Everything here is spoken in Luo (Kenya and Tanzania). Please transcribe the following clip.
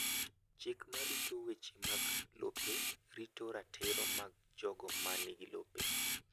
Chik ma rito weche mag lope rito ratiro mag jogo ma nigi lope.